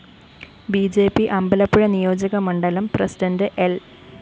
B J P Ambalappuzha നിയോജകമണ്ഡലം president ൽ